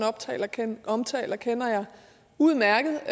omtaler kender jeg udmærket